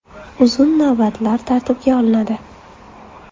Uzun navbatlar tartibga olinadi.